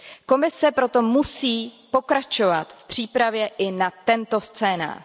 Komise proto musí pokračovat v přípravě i na tento scénář.